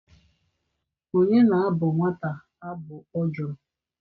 Onye na-abụ nwata abụ?Ọ jụrụ.